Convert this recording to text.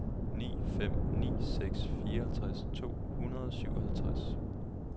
ni fem ni seks fireoghalvtreds to hundrede og syvoghalvtreds